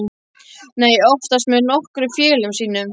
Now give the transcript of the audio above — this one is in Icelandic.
Nei, oftast með nokkrum félögum mínum.